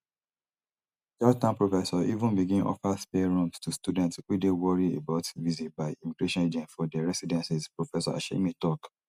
georgetown professors even begin offer spare rooms to students wey dey worry about visit by immigration agents for dia residences prof hashemi tok